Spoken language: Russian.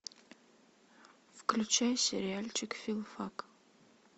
включай сериальчик филфак